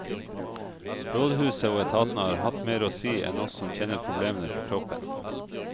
Rådhuset og etatene har hatt mer å si enn oss som kjenner problemene på kroppen.